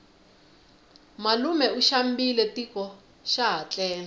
malume u xambile tiko xaha tlele